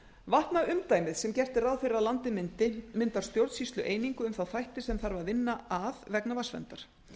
vatnaumdæmið sem gert er ráð fyrir að landið myndi myndar stjórnsýslueiningu um þá þætti sem þarf að vinna að vegna vatnsverndar